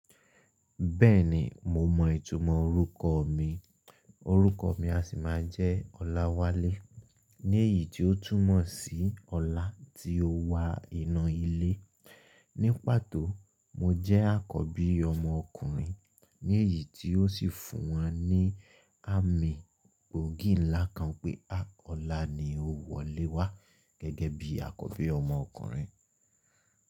Bẹ́ẹ̀ni mo mọ ìtumọ̀ orúkọ mi, orúkọ mi a sì máa jẹ́ Ọláwálé, léyìí tí ó túmọ̀ sí ọlá tí ó wa inu ilé. Ní pàtó, mo jẹ́ àkọ́bí ọmọ ọkùnrin, léyìí tí ó sì fún won ní àmì gbòógì ńlá kan pé, ọlá ni ó wọlé wá gẹ́gẹ́ bí àkọ́bí ọmọ ọkùnrin.